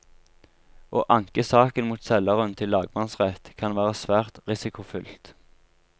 Å anke saken mot selgeren til lagmannsrett kan være svært risikofylt.